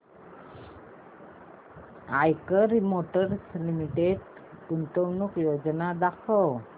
Eicher motors limited गुंतवणूक योजना दाखव